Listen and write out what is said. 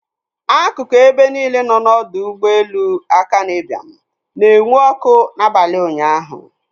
Akụkụ ebe niile nọ n'ọdọ ụgbọelu Akanu Ibiam na-enwu ọkụ n'abalị ụnyaahụ.